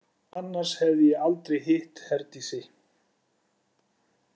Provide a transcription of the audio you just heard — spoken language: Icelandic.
Annars hefði ég aldrei hitt Herdísi.